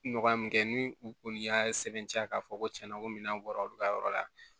Nɔgɔya min kɛ ni u kɔni y'a sɛbɛntiya k'a fɔ ko tiɲɛna ko minɛn bɔra olu ka yɔrɔ la